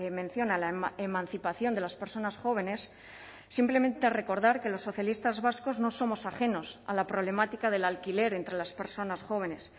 mención a la emancipación de las personas jóvenes simplemente recordar que los socialistas vascos no somos ajenos a la problemática del alquiler entre las personas jóvenes